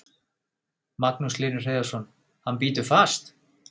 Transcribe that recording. Magnús Hlynur Hreiðarsson: Hann bítur fast?